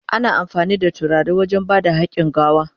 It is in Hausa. Ana amfani da turare wajen ba da hakin gawa.